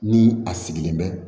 Ni a sigilen bɛ